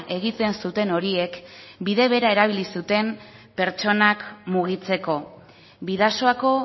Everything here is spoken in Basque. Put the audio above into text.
egiten zuten horiek bide bera erabili zuten pertsonak mugitzeko bidasoako